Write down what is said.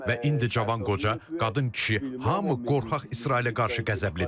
Və indi cavan, qoca, qadın, kişi hamı qorxaq İsrailə qarşı qəzəblidir.